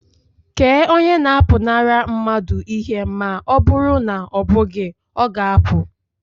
Kee onye na-apụnara mmadụ ihe ma ọ bụrụ na ọ bụghị, ọ ga-apụ